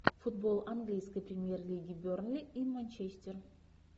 футбол английской премьер лиги бернли и манчестер